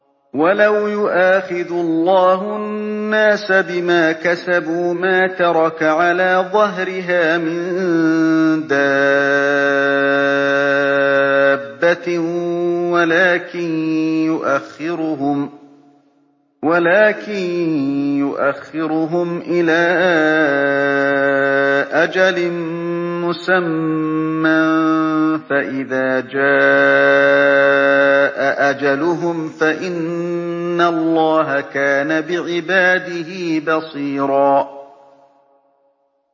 وَلَوْ يُؤَاخِذُ اللَّهُ النَّاسَ بِمَا كَسَبُوا مَا تَرَكَ عَلَىٰ ظَهْرِهَا مِن دَابَّةٍ وَلَٰكِن يُؤَخِّرُهُمْ إِلَىٰ أَجَلٍ مُّسَمًّى ۖ فَإِذَا جَاءَ أَجَلُهُمْ فَإِنَّ اللَّهَ كَانَ بِعِبَادِهِ بَصِيرًا